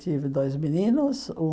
Tive dois meninos. O